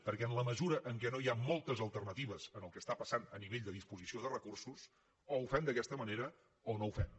perquè en la mesura en què no hi ha moltes alternatives en el que està passant a nivell de disposició de recursos o ho fem d’aquesta manera o no ho fem